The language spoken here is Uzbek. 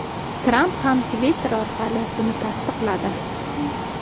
Tramp ham Twitter orqali buni tasdiqladi .